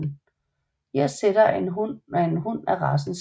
Irsk setter er en hund af racen setter